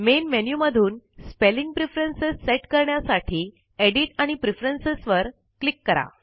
main menu मधून spelling preferences set करण्यासाठी edit आणि प्रेफरन्स वर क्लिक करा